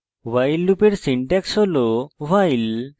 while লুপের syntax হল